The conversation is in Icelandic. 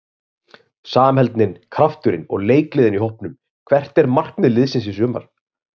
Samheldnin, krafturinn og leikgleðin í hópnum Hvert er markmið liðsins í sumar?